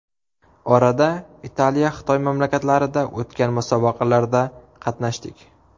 Orada Italiya, Xitoy mamlakatlarida o‘tgan musobaqalarda qatnashdik.